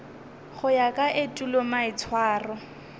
go ya ka etulo maitshwaro